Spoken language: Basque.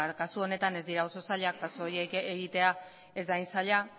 kasu honetan ez dira oso zailak pasu horiek egitea ez da hain zaila